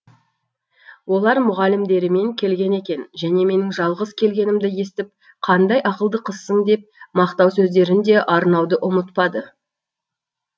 олар мұғалімдерімен келген екен және менің жалғыз келгенімді естіп қандай ақылды қызсың деп мақтау сөздерін де арнауды ұмытпады